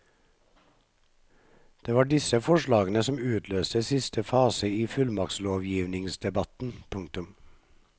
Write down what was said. Det var disse forslagene som utløste siste fase i fullmaktslovgivningsdebatten. punktum